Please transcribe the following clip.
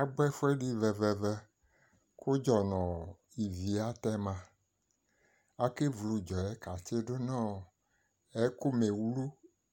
Agbɔ ɛfʋɛdɩ vɛ-vɛ-vɛ kʋ ʋdzɔ nʋ ivi atɛma Akevlu ʋdzɔ yɛ katsɩdʋ nʋ ɔ ɛkʋmewlu